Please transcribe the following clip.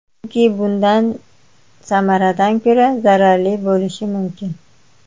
Chunki bundan samaradan ko‘ra zararli bo‘lishi mumkin.